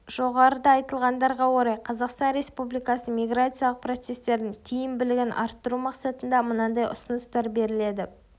жоғарыда айтылғандарға орай қазақстан республикасының миграциялық процестердің тиімбілігін арттыру мақсатында мынандай ұсыныстар беріледі